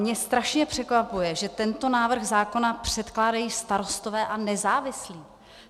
Mě strašně překvapuje, že tento návrh zákona předkládají Starostové a nezávislí.